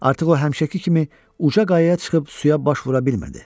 Artıq o həmişəki kimi uca qayaya çıxıb suya baş vura bilmirdi.